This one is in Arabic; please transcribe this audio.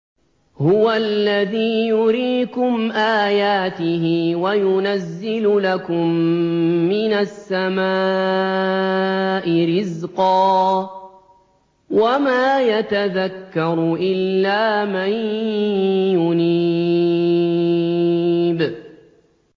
هُوَ الَّذِي يُرِيكُمْ آيَاتِهِ وَيُنَزِّلُ لَكُم مِّنَ السَّمَاءِ رِزْقًا ۚ وَمَا يَتَذَكَّرُ إِلَّا مَن يُنِيبُ